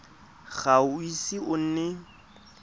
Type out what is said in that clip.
ga o ise o nne